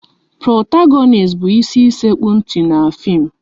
Protagonist bụ ịsi sekpu ntị n'fim